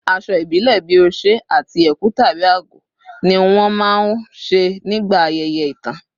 Aṣọ ìbílẹ̀ bíi oṣé àti ẹ̀kú/àgọ̀ ni wọ́n máa ń ṣe nígbà ayẹyẹ ìtàn